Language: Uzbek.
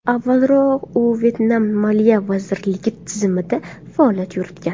Avvalroq u Vyetnam Moliya vazirligi tizimida faoliyat yuritgan.